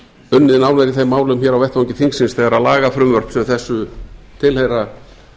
unnið nánar í þeim málum á vettvangi þingsins þegar lagafrumvörp sem þessu tilheyra